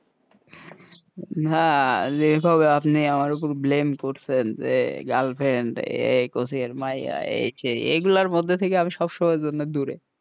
হ্যাঁ, যেভাবে আপনি আমার ওপর blame করছেন যে girlfriend এই কচি মাইয়া সে এই গুলার মধ্য থেকে আমি সব সময়ের জন্য দূরে,